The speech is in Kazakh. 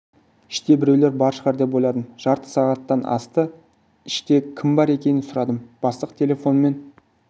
іште біреулер бар шығар деп ойладым жарты сағаттан асты іште кім бар екенін сұрадым бастық телефонмен